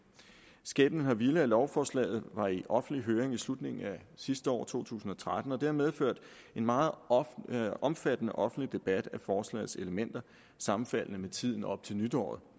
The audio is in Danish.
skæbnen har villet at lovforslaget var i offentlig høring i slutningen af sidste år altså to tusind og tretten og det har medført en meget omfattende offentlig debat af forslagets elementer sammenfaldende med tiden op til nytår